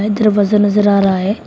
दरवाजा नजर आ रहा है।